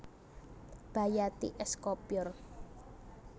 Bayati es Kopyor